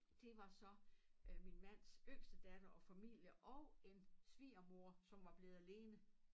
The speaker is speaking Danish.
Det var så øh min mands yngste datter og familie og en svigermor som var blevet alene